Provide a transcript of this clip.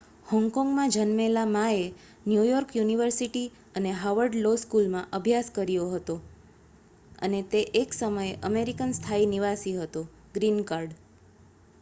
"હોંગકોંગમાં જન્મેલા માએ New York university અને હાર્વર્ડ લો સ્કૂલમાં અભ્યાસ કર્યો હતો અને તે એક સમયે અમેરિકન સ્થાયી નિવાસી હતો "ગ્રીન કાર્ડ"".